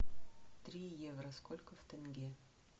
три евро сколько в тенге